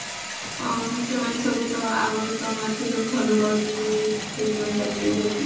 ଆଁ ସେମାନେ ସବୁ ତ ଆମର ତ ତମମାନକୁ ସବୁ ଭଲ ପାଉଛନ୍ତି ବହୁତ ସେଇଥି ପାଇଁ ଚାଲି ଆଉଛନ୍ତି